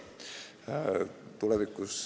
Ei ole.